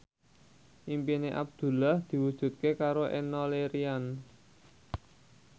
impine Abdullah diwujudke karo Enno Lerian